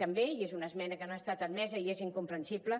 també i és una esmena que no ha estat admesa i és incomprensible